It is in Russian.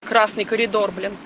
красный коридор блин